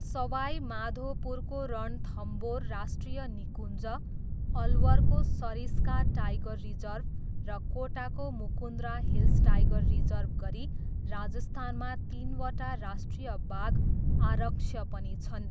सवाई माधोपुरको रणथम्बोर राष्ट्रिय निकुञ्ज, अलवरको सरिस्का टाइगर रिजर्भ र कोटाको मुकुन्द्रा हिल्स टाइगर रिजर्भ गरी राजस्थानमा तिनवटा राष्ट्रिय बाघ आरक्ष्य पनि छन्।